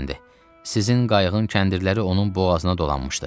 Sizin qayığın kəndirləri onun boğazına dolanmışdı.